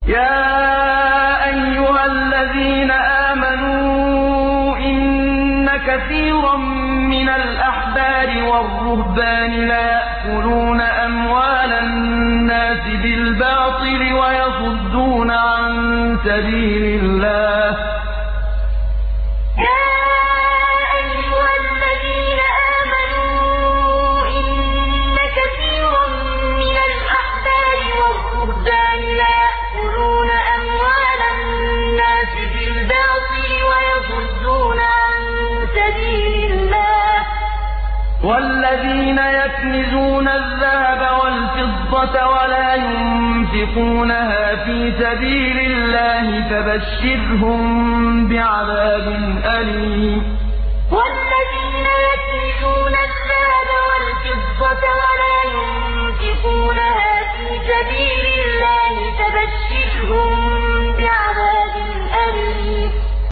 ۞ يَا أَيُّهَا الَّذِينَ آمَنُوا إِنَّ كَثِيرًا مِّنَ الْأَحْبَارِ وَالرُّهْبَانِ لَيَأْكُلُونَ أَمْوَالَ النَّاسِ بِالْبَاطِلِ وَيَصُدُّونَ عَن سَبِيلِ اللَّهِ ۗ وَالَّذِينَ يَكْنِزُونَ الذَّهَبَ وَالْفِضَّةَ وَلَا يُنفِقُونَهَا فِي سَبِيلِ اللَّهِ فَبَشِّرْهُم بِعَذَابٍ أَلِيمٍ ۞ يَا أَيُّهَا الَّذِينَ آمَنُوا إِنَّ كَثِيرًا مِّنَ الْأَحْبَارِ وَالرُّهْبَانِ لَيَأْكُلُونَ أَمْوَالَ النَّاسِ بِالْبَاطِلِ وَيَصُدُّونَ عَن سَبِيلِ اللَّهِ ۗ وَالَّذِينَ يَكْنِزُونَ الذَّهَبَ وَالْفِضَّةَ وَلَا يُنفِقُونَهَا فِي سَبِيلِ اللَّهِ فَبَشِّرْهُم بِعَذَابٍ أَلِيمٍ